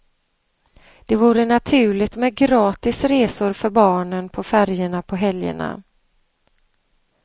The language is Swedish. Det vore naturligt med gratis resor för barnen på färjorna på helgerna.